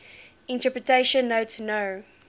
interpretation note no